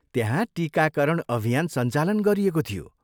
त्यहाँ टिकाकरण अभियान सञ्चालन गरिएको थियो।